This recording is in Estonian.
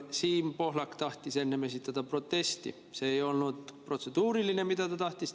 Siim Pohlak tahtis enne esitada protesti, see ei olnud protseduuriline küsimus, mida ta esitada tahtis.